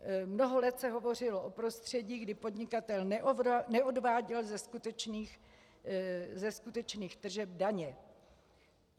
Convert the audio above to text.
Mnoho let se hovořilo o prostředí, kdy podnikatel neodváděl ze skutečných tržeb daně.